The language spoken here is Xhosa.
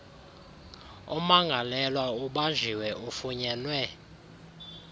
ummangalelwa ubanjiwe ufunyenwe